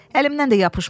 Əlimdən də yapışmadı.